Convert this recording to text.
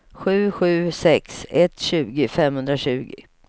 sju sju sex ett tjugo femhundratjugo